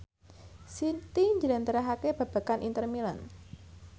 Siti njlentrehake babagan Inter Milan